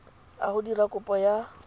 a go dira kopo ya